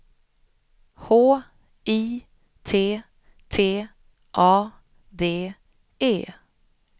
H I T T A D E